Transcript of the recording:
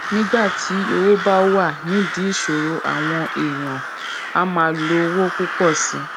nígbà tí owó bá wà nídìí ìsòrò àwọn èèyàn á máa lo owó púpò sí i